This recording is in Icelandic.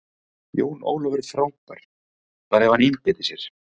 Jón Ólafur er frábær, bara ef hann einbeitir sér.